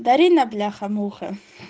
дарина бляха муха